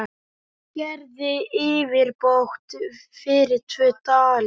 Gerið yfirbót fyrir tvo dali!